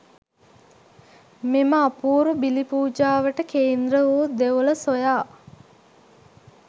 මෙම අපූරු බිලි පූජාවට කේන්ද්‍ර වූ දෙවොල සොයා